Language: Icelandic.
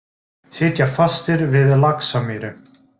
Sitja fastir við Laxamýri